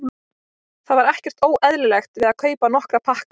Það var ekkert óeðlilegt við að kaupa nokkra pakka af þeim.